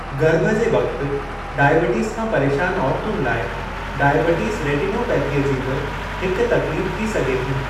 गर्भु जे वक़्त डायबिटीज़ खां परेशान औरतुनि लाइ डायबिटीज़ रेटिनोपैथीअ जी बि हिक तकलीफ़ थी सघे थी।